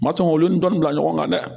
Ma sɔn olu dɔnni bila ɲɔgɔn kan dɛ